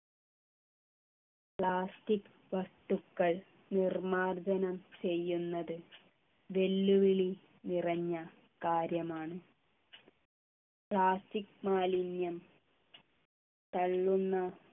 plastic വസ്തുക്കൾ നിർമാർജനം ചെയ്യുന്നത് വെല്ലുവിളി നിറഞ്ഞ കാര്യമാണ് plastic മാലിന്യം തള്ളുന്ന